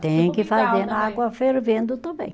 Tem que fazer na água fervendo também.